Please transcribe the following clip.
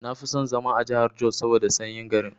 Nafi son zama a jahar jos saboda sanyi garin.